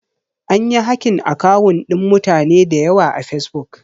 Anyi hakin akawun ɗin mutane dayawa a fesbuk